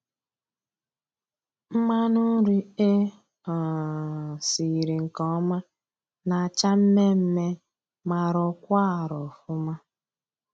Mmanụ nri e um siri nke ọma na-acha mmee mmee ma rọkwaa arọ ọfụma.